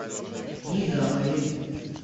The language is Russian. низамове